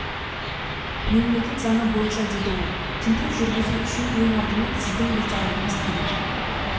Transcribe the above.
мемлекет заңы бойынша деді ол тінту жүргізу үшін ең алдымен сіздің ризалығыңыз керек